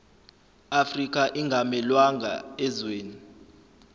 afrika ingamelwanga ezweni